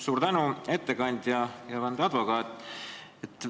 Suur tänu, ettekandja ja vandeadvokaat!